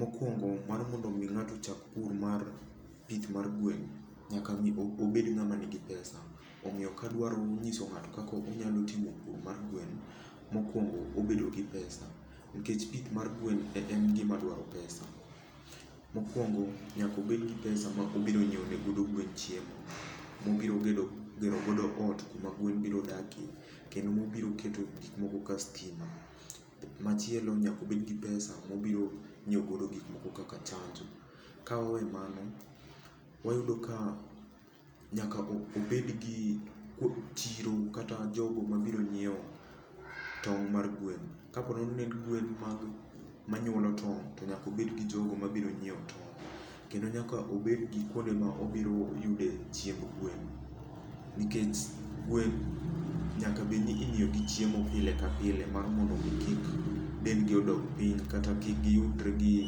Mokuongo mar mondo omi ng'ato ochak pur mar pith mar gwen, nyaka mi obed ng'ama nigi pesa. Omiyo kadwaro nyiso ng'ato kaka onyalo timo puro mar gwen, mokuongo obedo gi pesa. Nikech pith mar gwen en gima dwaro pesa. Mokuongo nyaka obed gi pesa ma obiro nyiewo ne godo gwen chiemo. Mobiro gero godo ot kuma gwen biro dakie. Kendo mobiro keto gik moko kaka stima. Machielo nyaka obed gi pesa mobiro nyiewo godo gik moko kaka chanjo. Ka wawe mano, wayudo ka nyaka obed gi chiro kata jogo ma biro nyiewo tong' mar gweno. Ka pore ni ne en gwen manyuolo tong' to nyaka obed gi jogo mabiro nyiewo ton'. Kendo nyaka obed gi kuonde ma obiro yude chiemb gwen nikech gwen nyaka bed ni imiyo gi chiemo pile ka pile mar mondo mi kik dendgi odog piny, kata kik giyudre gi,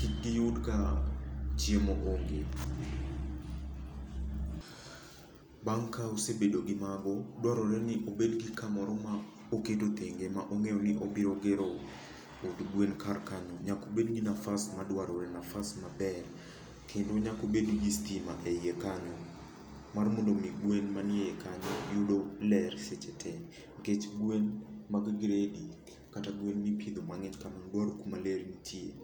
kik giyud ka chiemo onge. Bang' ka osebedo gi mago, dwarore ni obed gi kamoro ma oketo thenge ma ong'eyo ni obiro gero od gwen kar kanyo. Nyaka obed gi nafas madwarore, nafas maber. Kendo nyaka obed gi stima e iye kanyo. Mar mondo mi gwen manie kanyo yudo ler seche te. Nikech gwen mag gredi, kata gwen mipidho mang'eny kamano dwaro kuma ler nitie.